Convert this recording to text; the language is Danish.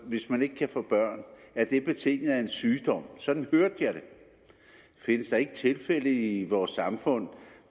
hvis man ikke kan få børn at det er betinget af en sygdom sådan hørte jeg det findes der ikke tilfælde i vores samfund